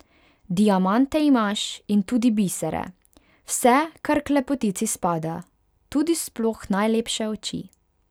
Diamante imaš in tudi bisere, vse, kar k lepotici spada, tudi sploh najlepše oči.